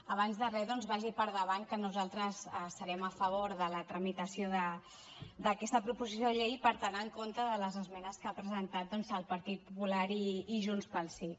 abans de re doncs vagi per endavant que nosaltres estarem a favor de la tramitació d’aquesta proposició de llei i per tant en contra de les esmenes que han presentat doncs el partit popular i junts pel sí